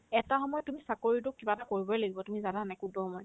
এটা সময়ত তুমি চাকৰিতোক কিবা এটা কৰিবই লাগিব তুমি জানানে নাই কোনতো সময় ?